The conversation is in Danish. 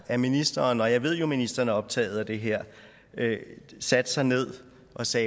at ministeren og jeg ved at ministeren er optaget af det her satte sig ned og så